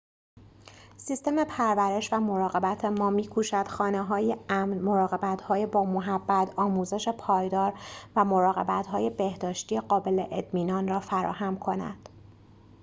سیستم پرورش و مراقبت ما می‌کوشد خانه‌های امن مراقب‌های با محبت آموزش پایدار و مراقبت‌های بهداشتی قابل اطمینان را فراهم کند